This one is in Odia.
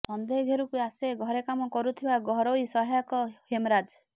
ସନ୍ଦେହ ଘେରକୁ ଆସେ ଘରେ କାମ କରୁଥିବା ଘରୋଇ ସହାୟକ ହେମରାଜ୍